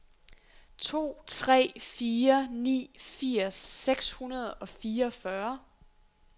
to tre fire ni firs seks hundrede og fireogfyrre